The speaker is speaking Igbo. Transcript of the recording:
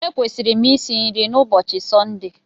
Ekwesịrị m isi nri na ụbọchị Sọnde